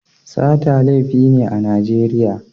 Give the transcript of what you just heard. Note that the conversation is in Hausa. Sata laifi ne a Najeriya.